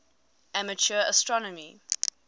amateur astronomy